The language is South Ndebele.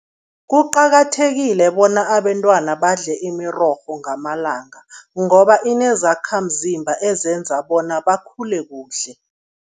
Kuqakathekile bona abentwana badle imirorho ngamalanga ngoba inezakhamzimba ezenza bona bakhule kuhle.